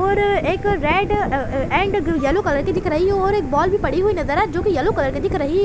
और एक red and yellow colour की दिख रही है और एक बॉल भी पड़ी हुई नज़र आ जो की येलो कलर की दिख रही है।